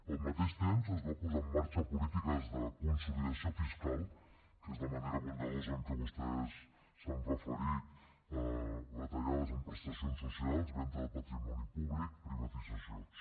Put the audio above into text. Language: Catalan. al mateix temps es van posar en marxa polítiques de consolidació fiscal que és la manera bondadosa amb què vostès s’han referit a retallades en prestacions socials venda de patrimoni públic privatitzacions